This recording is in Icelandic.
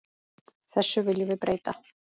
Þessu viljum við breyta.